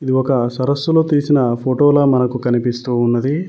ఇది ఒక సరస్సులో తీసిన ఫోటోల మనకు కనిపిస్తూ ఉన్నది.